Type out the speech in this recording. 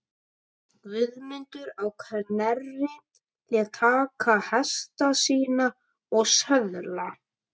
Guðmundur á Knerri lét taka hesta sína og söðla.